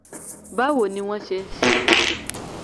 báwo ni wọ́n ṣe ń ṣe é tó?